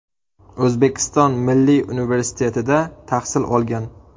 O‘zbekiston Milliy universitetida tahsil olgan.